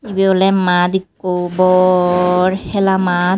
ebe oley mad ekko bor hela mad.